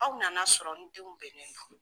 Aw nana sɔrɔ n denw bɛnlen do.